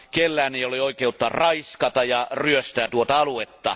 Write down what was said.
Kenelläkään ei ole oikeutta raiskata ja ryöstää tuota aluetta.